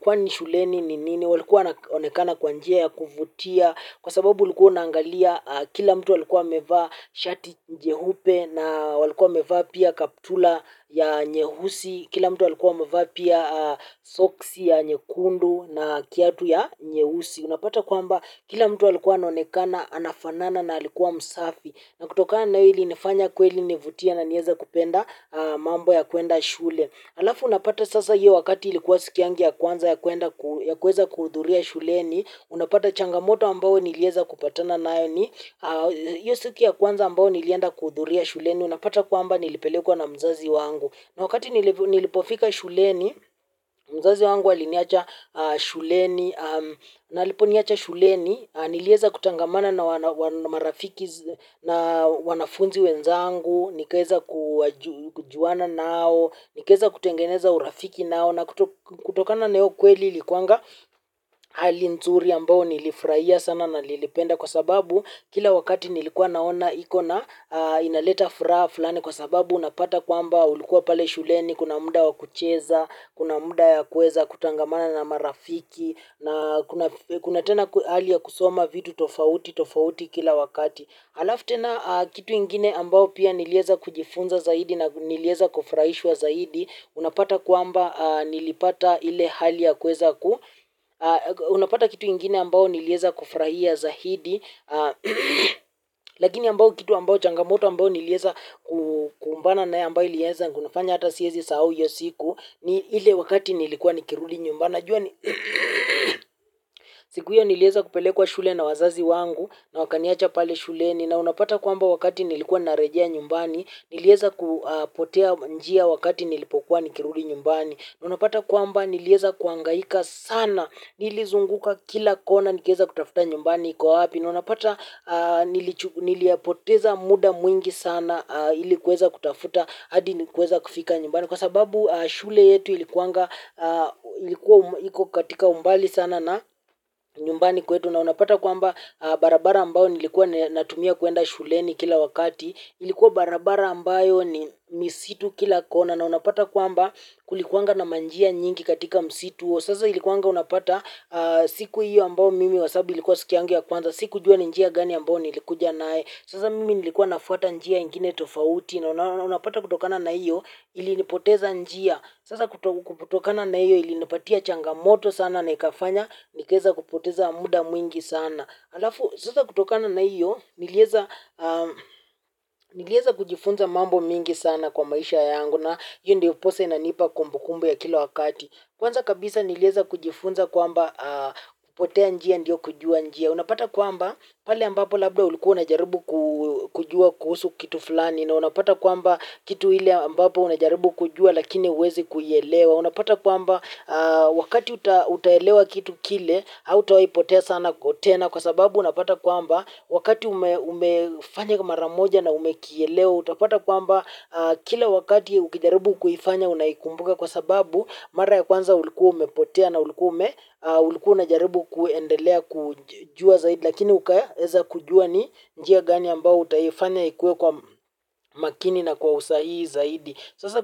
kwani shuleni ni nini walikuwa waaonekana kwa njia ya kuvutia kwa sababu ulikuwa unaangalia kila mtu alikuwa amevaa shati jehupe na walikuwa wamevaa pia kaptula ya nyehusi kila mtu walikuwa wamevaa pia soksi ya nyekundu na kiatu ya nyeusi. Unapata kwamba kila mtu alikuwa anaonekana, anafanana na alikuwa msafi. Na kutokana na hilyo ilinifanya kweli nivutie na nieza kupenda mambo ya kuenda shule. Alafu unapata sasa hiyo wakati ilikuwa siku yangu ya kwanza ya kuweza kuhudhuria shuleni. Unapata changamoto ambao nilieza kupatana nayo hiyo siku ya kwanza ambao nilienda kuhudhuria shuleni. Unapata kwaamba nilipelekwa na mzazi wangu. Na wakati nilipofika shuleni, mzazi wangu aliniacha shuleni. Na aliponiacha shuleni, nilieza kutangamana na marafiki na wanafunzi wenzangu. Nikaeza kujuana nao, nikaeza kutengeneza urafiki nao. Na kutokana na hio kweli ilikuanga hali nzuri ambao nilifraia sana na nilipenda kwa sababu kila wakati nilikuwa naona iko na inaleta furaha fulani. Kwa sababu unapata kwamba ulikuwa pale shuleni, kuna muda wa kucheza. Kuna muda ya kuweza kutangamana na marafiki. Na kuna tena hali ya kusoma vitu tofauti tofauti kila wakati. Alafu tena kitu ingine ambao pia nilieza kujifunza zaidi na nilieza kufuraishwa zaidi. Unapata kwamba nilipata ile hali ya kuweza ku unapata kitu ingine ambao nilieza kufuraia zaidi. Lakini ambao kitu ambao changamoto ambao nilieza kukumbana nayo ambao ilieza kunifanya hata siezi sahau hiyo siku ni ile wakati nilikuwa nikirudi nyumbani najua ni siku hiyo nilieza kupelekwa shule na wazazi wangu na wakaniacha pale shuleni na unapata kwamba wakati nilikuwa narejea nyumbani nilieza kupotea njia wakati nilipokuwa nikirudi nyumbani na unapata kwamba nilieza kuangaika sana nilizunguka kila kona nikaeza kutafuta nyumbani iko wapi na unapata nilipoteza muda mwingi sana ili kuweza kutafuta adi nilipoweza kufika nyumbani. Kwa sababu shule yetu ilikuwa katika umbali sana na nyumbani kwetu. Na unapata kwamba barabara ambao nilikuwa natumia kuenda shuleni kila wakati ilikuwa barabara ambayo ni misitu kila kona. Na unapata kwamba kulikuwa na manjia nyingi katika misitu. Sasa ilikuwa unapata siku iyo ambayo mimi kwa sababu ilikuwa siku yangu ya kwanza. Sikujua ni njia gani ambayo nilikuja nae. Sasa mimi nilikuwa nafuata njia ingine tofauti na unapata kutokana na iyo ili nipoteza njia. Sasa kutokana na iyo ilinipatia changamoto sana na ikafanya nikaeza kupoteza muda mwingi sana. Alafu, sasa kutokana na iyo nilieza kujifunza mambo mengi sana kwa maisha yangu na iyo ndioposa inanipa kumbukumbo ya kila wakati. Kwanza kabisa nilieza kujifunza kwamba kupotea njia ndio kujua njia. Unapata kwamba pale ambapo labda ulikuwa unajarubu kujua kuhusu kitu fulani na unapata kwamba kitu ile ambapo unajaribu kujua lakini uwezi kuielewa unapata kwamba wakati utaelewa kitu kile hautawai potea sana tena kwa sababu unapata kwamba wakati umefanya maramoja na umekielewa utapata kwamba kila wakati ukijaribu kuifanya unaikumbuka kwa sababu mara ya kwanza ulikuwa umepotea na ulikuwa ume ulikuwa unajaribu kuendelea kujua zaidi lakini ukaeza kujua ni njia gani ambao utaifanya ikue kwa makini na kwa usahihi zaidi.